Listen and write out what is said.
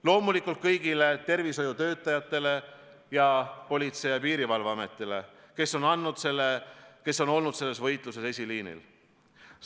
Loomulikult olen väga tänulik kõigile tervishoiutöötajatele ja Politsei- ja Piirivalveametile, kes on olnud selles võitluses esiliinil.